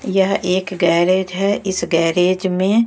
यह एक गैरेज है इस गैरेज में--